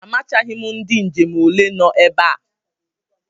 Amachaghị m ndị njem ole no ebe a.